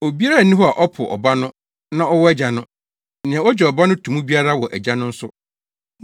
Obiara nni hɔ a ɔpo Ɔba no na ɔwɔ Agya no; nea ogye Ɔba no to mu biara wɔ Agya no nso.